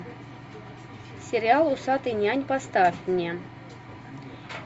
сериал усатый нянь поставь мне